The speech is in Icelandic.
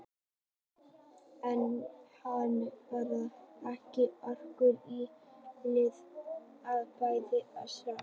En hún hafði ekki orku í sér til að bæta úr því strax.